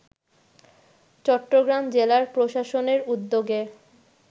চট্টগ্রাম জেলা প্রশাসনের উদ্যোগে